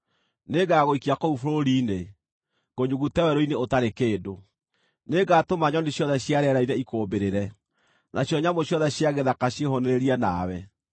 Nĩngagũikia kũu bũrũri-inĩ, ngũnyugute werũ-inĩ ũtarĩ kĩndũ. Nĩngatũma nyoni ciothe cia rĩera-inĩ ikũũmbĩrĩre, nacio nyamũ ciothe cia gĩthaka ciĩhũũnĩrĩrie nawe.